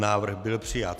Návrh byl přijat.